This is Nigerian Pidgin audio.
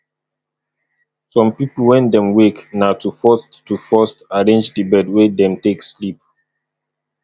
some pipo when dem wake na to first to first arrange the bed wey dem take sleep